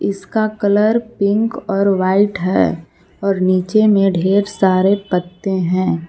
इसका colour pink और white है और नीचे में ढ़ेर सारे पत्ते हैं।